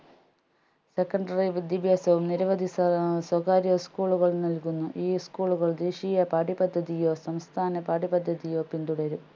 secondary വിദ്യാഭ്യാസവും നിരവധി സ്വ സ്വകാര്യ school കളും നൽകുന്നു ഈ school കൾ ദേശീയ പാഠ്യപദ്ധതിയോ സംസ്ഥാന പാഠ്യപദ്ധതിയോ പിന്തുടരും